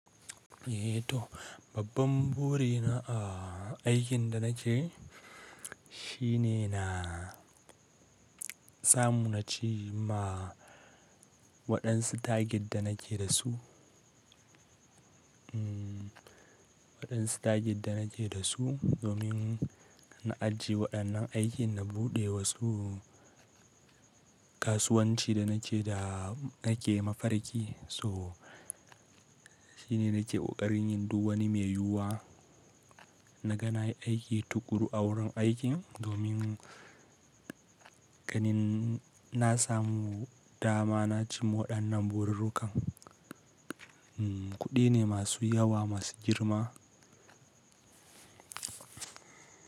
Eh toh, babban buri na a aikin da nake, shine na samu naci ma waɗansu tagin da nake da su. Waɗansu tagin da nake da su, domin na ajiye waɗannan aikin na buɗe wasu kasuwanci da nake da nake mafarki. So shine nake ƙarin yin duk wani mai yiwuwa. Na ga na yi aiki tuƙuru a wurin aikin domin ganin na samu dama naci waɗannan burirrukan. Kuɗi ne masu yawa, masu girma.